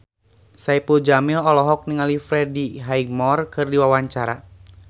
Saipul Jamil olohok ningali Freddie Highmore keur diwawancara